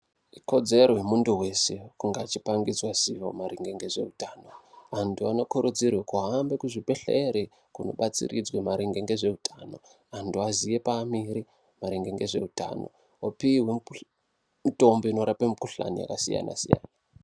Ikodzero yemunthu wese kunge achipangidzwa ziwo maringe ngezveutano. Anthu anokurudzirwe kuhambe kuzvibhedhlera kundobatsiridzwe maringe ne zveutano, munthu aziye paamire maringe ne zveutano. Opihwe mitombo inorape mikhuhlana yakasiyana-siyana.